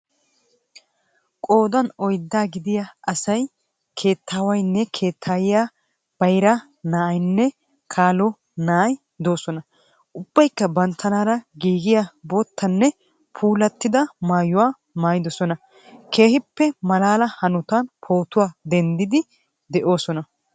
Qoodan oyiddaa gidiyaa asaayi keettaawaynne keettaayiya baayiraa na^aaynne kaalo na^aayiya de^oosona. Ubbayikka banttanara giigiyaa boottanne puulaattidaga maayuwa maayidoosona. Keehippe maalaala haanotan pootuwaa deenddidi de^oosona.